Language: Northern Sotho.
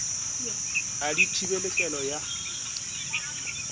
ga di thibele kelo ya